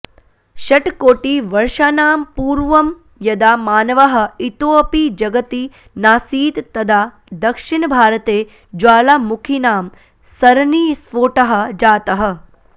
षट्कोटिवर्षाणां पूर्वं यदा मानवः इतोऽपि जगति नासीत् तदा दक्षिणभारते ज्वालामुखीनां सरणिस्फोटः जातः